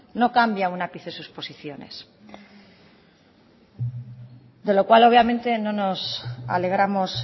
no cambia ni un ápice sus posiciones de lo cual obviamente no nos alegramos